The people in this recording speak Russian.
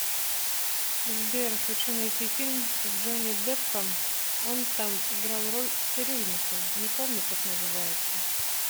сбер хочу найти фильм с джонни депп ом он там играл роль цирюльника не помню как называется